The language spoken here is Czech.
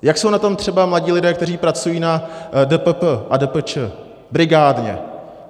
Jak jsou na tom třeba mladí lidé, kteří pracují na DPP a DPČ brigádně?